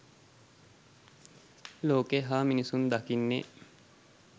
ලෝකය හා මිනිසුන් දකින්නේ